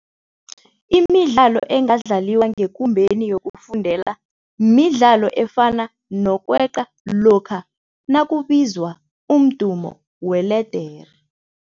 Imidlalo engadlaliwa ngekumbeni yokufundela midlalo efana nokweqa lokha nakubizwa umdumo weledere.